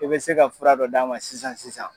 I bɛ se ka fura dɔ d'a ma sisan sisan.